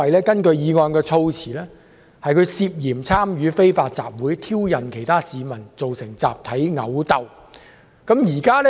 根據議案措辭，林議員涉嫌參與非法集會，挑釁其他市民，造成集體毆鬥。